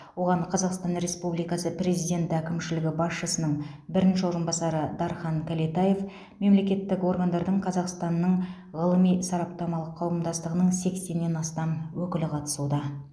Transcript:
оған қазақстан республикасы президенті әкімшілігі басшысының бірінші орынбасары дархан кәлетаев мемлекеттік органдардың қазақстанның ғылыми сараптамалық қауымдастығының сексеннен астам өкілі қатысуда